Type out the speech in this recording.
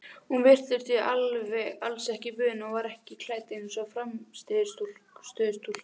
Hún virtist því alls ekki vön og var ekki klædd eins og frammistöðustúlka.